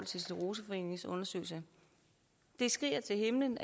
scleroseforeningens undersøgelse det skriger til himlen